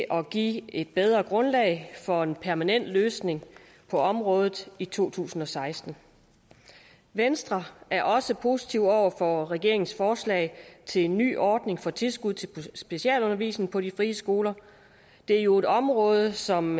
at give et bedre grundlag for en permanent løsning på området i to tusind og seksten venstre er også positiv over for regeringens forslag til en ny ordning for tilskud til specialundervisning på de frie skoler det er jo et område som